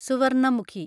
Swarnamukhi